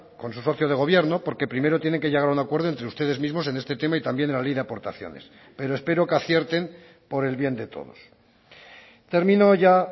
con su socio de gobierno porque primero tienen que llegar a un acuerdo entre ustedes mismos en este tema y también en la ley de aportaciones pero espero que acierten por el bien de todos termino ya